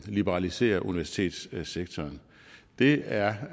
liberalisere universitetssektoren det er